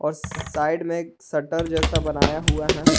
Side में एक shutter जैसा बनाया हुआ है।